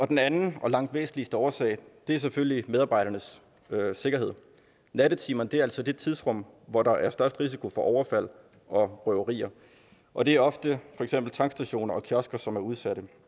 den anden og langt væsentligste årsag er selvfølgelig medarbejdernes sikkerhed nattetimerne er altså det tidsrum hvor der er størst risiko for overfald og røverier og det er ofte for eksempel tankstationer og kiosker som er udsat